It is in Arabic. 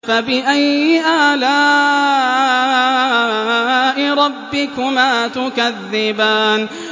فَبِأَيِّ آلَاءِ رَبِّكُمَا تُكَذِّبَانِ